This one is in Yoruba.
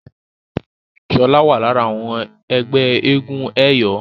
Shola wá lára àwọn ẹgbẹ́ éégun eyọ.